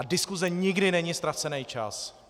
A diskuse nikdy není ztracený čas!